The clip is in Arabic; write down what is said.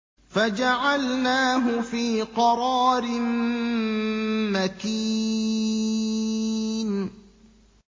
فَجَعَلْنَاهُ فِي قَرَارٍ مَّكِينٍ